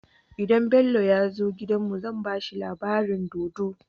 Idan Bello yazo gidan mu zan bashi labarin dodo